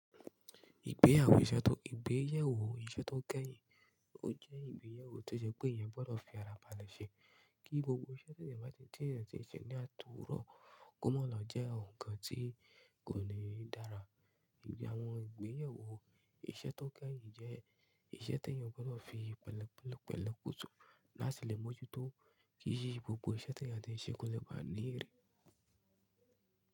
Ìgbéyàwó iṣẹ́ tó, ìgbéyẹ̀wò iṣẹ́ tó kẹ́yìn ó jẹ́ ìgbéyẹ̀wò to sepé èyán gbọ́dọ̀ fi ara balẹ̀ ṣe kí gbogbo iṣẹ́ tí èyán àti ìṣẹ̀ tí èèyàn ti ń se ní àtorọ Kómọ́ lọ jẹ́ nǹkan tí kò ní dára. Ìgbéyàwó iṣẹ́ tó kẹ́yìn jẹ́ iṣẹ́ tí èèyàn gbọ́dọ̀ fi pẹ̀lẹ́pẹ̀lẹ́pẹ̀ kùtù láti lè mọ̀ jù tó kí i ṣe gbogbo iṣẹ́ tí àti ń ṣe kò lè bá a ní ere.